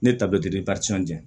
Ne ta bɛ di jɛn